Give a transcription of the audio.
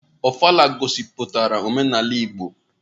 Ofala gosiputara omenala igbo